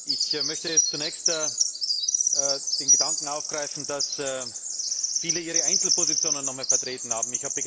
Ich möchte zunächst den Gedanken aufgreifen, dass viele ihre Einzelpositionen nochmals vertreten haben.